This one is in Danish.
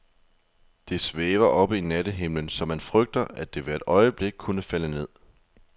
Det svæver oppe i nattehimlen, så man frygter, at det hvert øjeblik kunne falde ned.